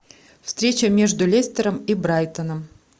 встреча между лестером и брайтоном